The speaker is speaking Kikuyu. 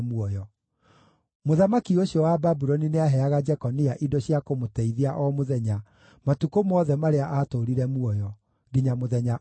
Mũthamaki ũcio wa Babuloni nĩaheaga Jekonia indo cia kũmũteithia o mũthenya matukũ mothe marĩa aatũũrire muoyo, nginya mũthenya ũrĩa aakuire.